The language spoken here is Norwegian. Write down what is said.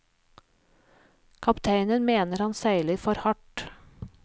Kapteinen mener han seiler for hardt.